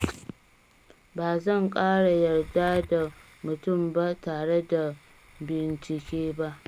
Ba zan ƙara yarda da mutum ba tare da bincike ba